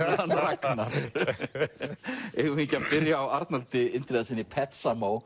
hann Ragnar eigum við ekki að byrja á Arnaldi Indriðasyni